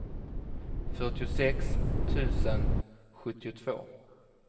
fyrtiosex tusen sjuttiotvå